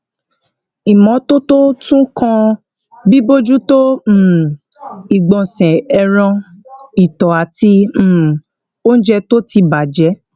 ìmótótó tún kan bíbójútó um ìgbònsè ẹran ìtò àti um oúnjẹ tó ti bà jé